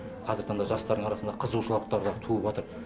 қазіргі таңда жастардың арасында қызығушылықтар да туып отыр